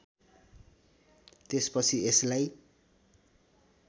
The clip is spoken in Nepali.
त्यसपछि यसलाई